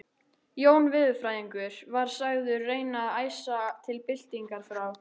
Jón veðurfræðingur var sagður reyna að æsa til byltingar frá